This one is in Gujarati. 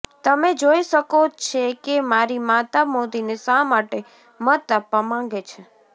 તમે જોઈ શકો છે કે મારી માતા મોદીને શા માટે મત આપવા માંગે છે